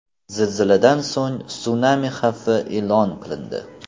Zilziladan so‘ng sunami xavfi e’lon qilindi.